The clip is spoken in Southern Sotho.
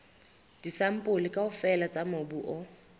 disampole kaofela tsa mobu o